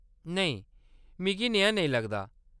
नेईं, मिगी नेहा नेईं लगदा।